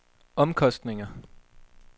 omkostninger